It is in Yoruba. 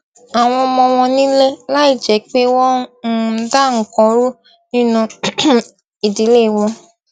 àwọn ọmọ wọn nílé láìjẹ́ pé wọ́n ń um da nǹkan rú nínú um ìdílé wọn